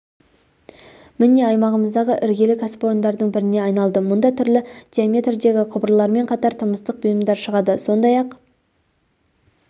міне аймағымыздағы іргелі кәсіпорындардың біріне айналды мұнда түрлі диаметрдегі құбырлармен қатар тұрмыстық бұйымдар шығады сондай-ақ